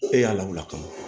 E y'a lawuli ka na